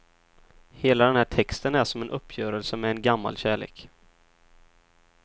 Hela den här texten är som en uppgörelse med en gammal kärlek.